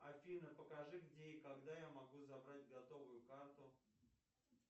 афина покажи где и когда я могу забрать готовую карту